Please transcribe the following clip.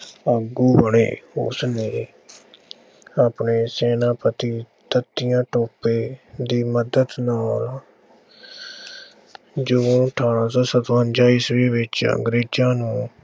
ਆਗੂ ਬਣੇ। ਉਸਨੇ ਆਪਣੇ ਸੈਨਾਪਤੀ ਤਾਂਤੀਆ ਟੋਪੇ ਦੀ ਮਦਦ ਨਾਲ ਜੂਨ ਅਠਾਰਾਂ ਸੌ ਸਤਵੰਜ਼ਾ ਈਸਵੀ ਵਿੱਚ ਅੰਗਰੇਜ਼ਾਂ ਨੂੰ